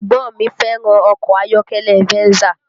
Ẹ̀gbọ́n mi fẹ́ràn ọkọ ayọ́kẹ́lẹ́ Venza